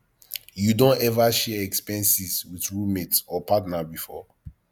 you don ever share expenses with roommate or partner before